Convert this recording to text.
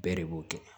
Bɛɛ de b'o kɛ